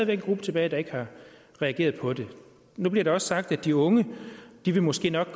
en gruppe tilbage der ikke har reageret på det nu bliver det også sagt at de unge måske nok